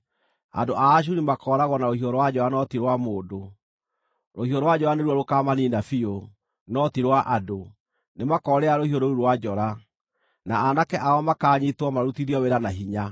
“Andũ a Ashuri makooragwo na rũhiũ rwa njora no ti rwa mũndũ; rũhiũ rwa njora nĩruo rũkaamaniina biũ, no ti rwa andũ. Nĩmakoorĩra rũhiũ rũu rwa njora, na aanake ao makaanyiitwo, marutithio wĩra na hinya.